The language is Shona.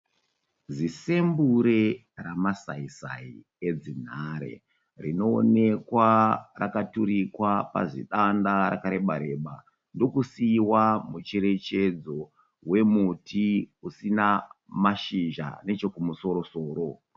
Zisembure ramasai sai edzinhare. Rinoonekwa rakaturikwa pazidanda rakareba reba ndokusiiwa micherechedzo wemuti usina mashizha neche kumusoro soro.